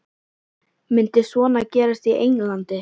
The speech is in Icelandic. Myndi svona gerast í Englandi?